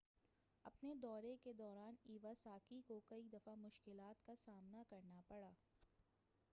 اپنے دورے کے دوران ایواساکی کو کئی دفعہ مشکلات کا سامنا کرنا پڑا